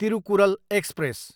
Thirukkural express